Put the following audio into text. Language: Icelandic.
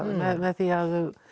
með því að